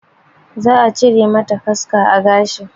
Za a cire mata kaska a gashi